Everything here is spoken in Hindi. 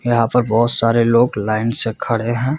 यहाँ पर बहुत सारे लोग लाइन से खड़े है।